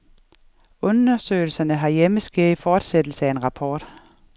Undersøgelserne herhjemme sker i fortsættelse af en rapport.